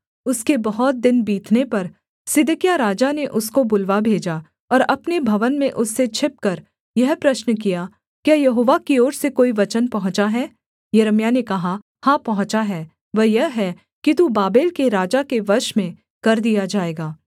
उसके बहुत दिन बीतने पर सिदकिय्याह राजा ने उसको बुलवा भेजा और अपने भवन में उससे छिपकर यह प्रश्न किया क्या यहोवा की ओर से कोई वचन पहुँचा है यिर्मयाह ने कहा हाँ पहुँचा है वह यह है कि तू बाबेल के राजा के वश में कर दिया जाएगा